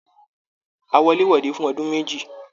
A wọ̀lèwọ̀de fún ọdún méjì.